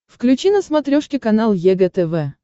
включи на смотрешке канал егэ тв